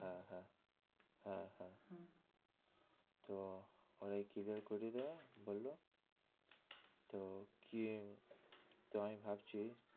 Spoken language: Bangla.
হ্যাঁ হ্যাঁ হ্যাঁ হ্যাঁ তো ওরাই clear করিয়ে দেবে বললো তো কি তো আমি ভাবছি